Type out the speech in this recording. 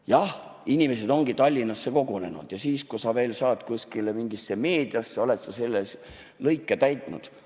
Jah, inimesed ongi Tallinnasse kogunenud, ja kui sa saad veel kuskile mingisse meediasse, oled sa selle lõike täitnud.